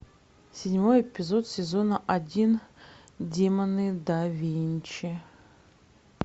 седьмой эпизод сезона один демоны да винчи